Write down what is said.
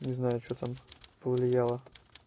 не знаю что там повлияло